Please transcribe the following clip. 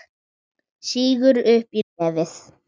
Sýgur upp í nefið.